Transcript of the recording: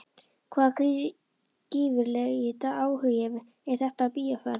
Hvaða gífurlegi áhugi er þetta á bíóferð?